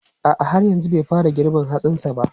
A'a, har yanzu bai fara girbin hatsin sa ba.